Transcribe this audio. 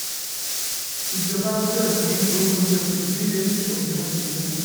ìjọba gbọ́dọ̀ dín owó oúnjẹ kù kí oúnjẹ sì pọ̀ ní nàìjíríà.